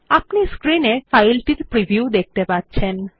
আপনি স্ক্রিন এ ফাইলটির প্রিভিউ দেখতে পাচ্ছেন